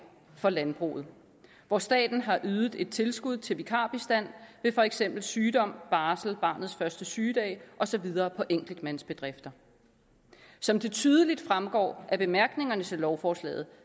for landbruget hvor staten har ydet et tilskud til vikarbistand ved for eksempel sygdom barsel barnets første sygedag og så videre på enkeltmandsbedrifter som det tydeligt fremgår af bemærkningerne til lovforslaget